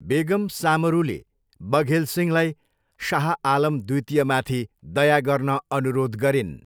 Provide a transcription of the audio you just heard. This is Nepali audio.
बेगम सामरूले बघेल सिंहलाई शाह आलम द्वितीयमाथि दया गर्न अनुरोध गरिन्।